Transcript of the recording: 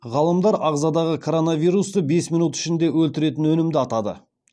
ғалымдар ағзадағы коронавирусты бес минут ішінде өлтіретін өнімді атады